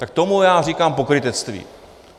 Tak tomu já říkám pokrytectví.